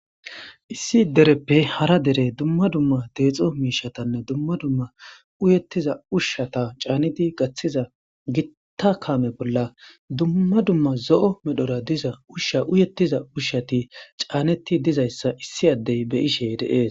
Issi dereppe hara dere dumma dumma deexo miishatanne dumma dumma uyettiza ushshata caanidi gaththiza gitta kaame bolla dumma dumma zo7o medhora diza ushsha uyettiza ushshati caanetti dizayssa issi addey beyishey deees.